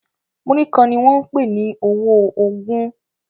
Muri kán ní wón pè ọwọ ogún